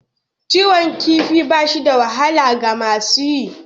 Kiwon kifi ba shi da wahala ga masu yi.